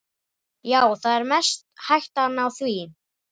Já, það er mest hættan á því.